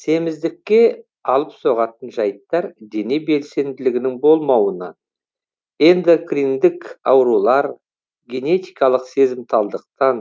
семіздікке алып соғатын жайттар дене белсенділігінің болмауынан эндокриндік аурулар генетикалық сезімталдықтан